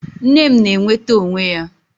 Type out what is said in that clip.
Nne m na-enweta onwe ya